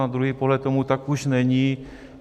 Na druhý pohled tomu tak už není.